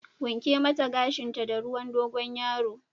Wanke mata gashinta da ruwan Dogon yaro!